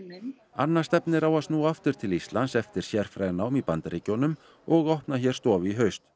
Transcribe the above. minn anna stefnir enn á að snúa aftur til Íslands eftir sérfræðinám í Bandaríkjunum og opna hér stofu í haust